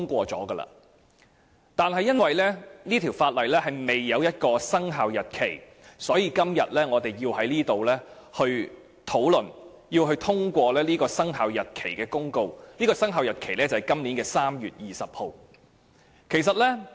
可是，由於該項修訂規例未有生效日期，所以今天我們便要在此討論及通過有關生效日期的公告，而生效日期是今年3月20日。